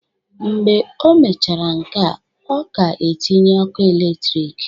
Mgbe o mechara nkea, ọ ga-etinye ọku eletrik